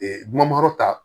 numankɔrɔ ta